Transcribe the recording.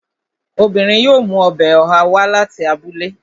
Obìnrin yóò mú ọbẹ̀ ọ̀há wá láti abúlé